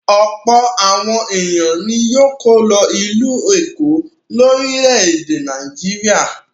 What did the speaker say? Ọ̀pọ̀ àwọn ènìyàn ni yóò kọ́ lọ ìlú Èkó, orílẹ̀-èdè Nàìjíríà.